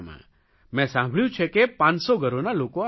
મેં સાંભળ્યું છે કે 500 ઘરોનાં લોકો આવે છે